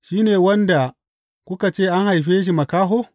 Shi ne wanda kuka ce an haife shi makaho?